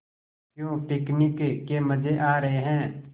क्यों पिकनिक के मज़े आ रहे हैं